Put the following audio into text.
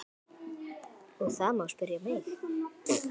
Stefanía gjaldkeri grúfir sig yfir taflmenn.